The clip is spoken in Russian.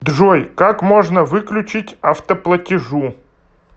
джой как можно выключить автоплатежу